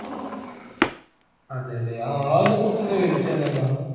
അതേലെ അഹ് അയിനെ കുറിച്ചൊന്ന് വിവരിച്ചന്നെ എന്ന